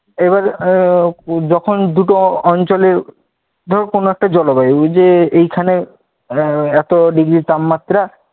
এবার আহ যখন দুটো অঞ্চলে, ধর কোনও একট জলবায়ু ঐ যে এইখানে এত ডিগ্রি তাপমাত্রা